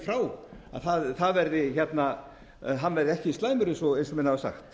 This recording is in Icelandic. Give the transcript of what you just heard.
frá verði ekki slæmur eins og menn hafa sagt